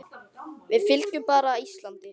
Við fylgjum bara Íslandi